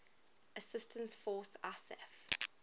assistance force isaf